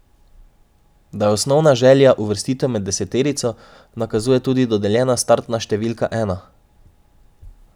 Da je osnovna želja uvrstitev med deseterico, nakazuje tudi dodeljena startna številka ena.